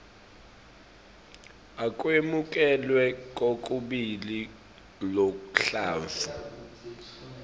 akwemukelwe kokubili luhlavu